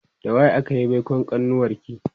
da waye akayi baikon kanuwarki?